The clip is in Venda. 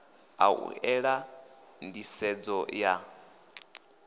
a u ela nḓisedzo ya